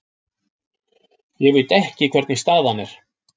Ég veit ekki hvernig staðan er.